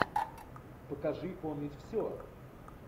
покажи помнить все